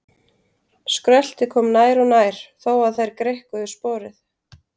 Skröltið kom nær og nær þó að þær greikkuðu sporið.